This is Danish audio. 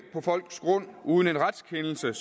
på folks grund uden en retskendelse